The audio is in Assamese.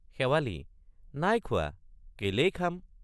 শেৱালি—নাই খোৱা কেলেই খাম?